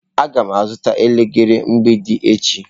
Aga m azụta elekere mgbidi echi.